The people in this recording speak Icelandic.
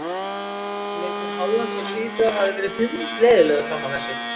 Leikur Hollands og Svíþjóðar hafði verið hundleiðinlegur fram að þessu.